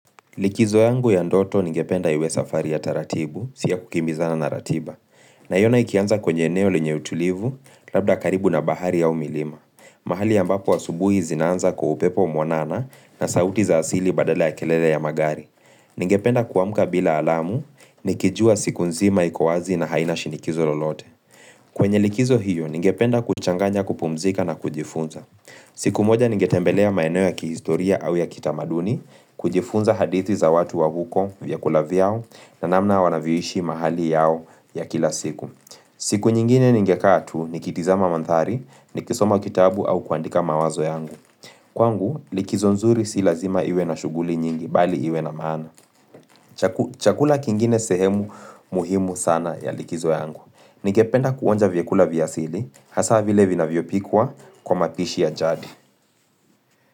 Likizo yangu ya ndoto ningependa iwe safari ya taratibu, siyo kukimbizana na ratiba. Na iona ikianza kwenye eneo linye utulivu, labda karibu na bahari ya umilima. Mahali ya mbapo asubuhi zinaanza kwa upepo mwanana na sauti za asili badala ya kelele ya magari. Ningependa kuamuka bila alamu, nikijua siku nzima ikowazi na haina shinikizo lolote. Kwenye likizo hiyo, ningependa kuchanganya kupumzika na kujifunza. Siku moja ningetembelea maeno ya kihistoria au ya kitamaduni kujifunza hadithi za watu wa huko vyakula vyao na namna wanavyoishi mahali yao ya kila siku. Siku nyingine ningekaa tu ni kitizama mandhari ni kisoma kitabu au kuandika mawazo yangu. Kwangu likizo nzuri si lazima iwe na shuguli nyingi bali iwe na maana. Chakula kingine sehemu muhimu sana ya likizo yangu. Ningependa kuonja vyekula vya asili, hasa vile vinavyo pikwa kwa mapishi ya jadi.